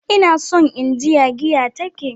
Ina son in ji ya giya ta ke.